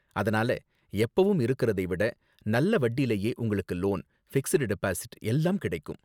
அதனால எப்பவும் இருக்குறதை விட நல்ல வட்டிலயே உங்களுக்கு லோன், ஃபிக்ஸட் டெபாசிட் எல்லாம் கிடைக்கும்.